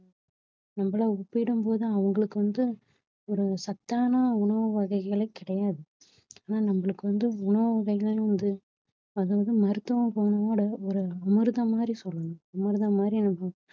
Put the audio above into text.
நம்மள ஒப்பிடும்போது அவங்களுக்கு வந்து ஒரு சத்தான உணவு வகைகளே கிடையாது ஆனா நம்மளுக்கு வந்து உணவு வகைகள்ன்றது அதாவது மருத்துவ குணமோடு ஒரு அமிர்தம் மாதிரி சொல்லலாம் அமிர்தம் மாதிரி